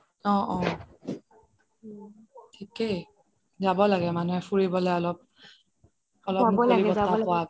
অহ থিকেই যাব লাগে মানুহে ফুৰিবলে অলপ, অলপ মোকলি বতাহ পোৱা বাবে